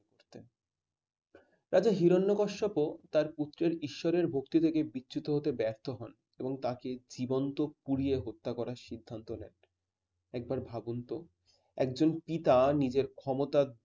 রাজা হিরণ্যকশ্যাপ তার পুত্রের ঈশ্বরের ভক্তি দেখে বিচ্ছুত করতে ব্যর্থ হন এবং তাকে জীবন্ত পুড়িয়ে মারার সিদ্ধান্ত নেয়। একবার ভাবুন তো একজন পিতা নিজের ক্ষমতার